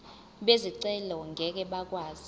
bezicelo ngeke bakwazi